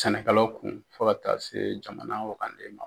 Sɛnɛkɛlaw kun fo ka taa se jamana wagane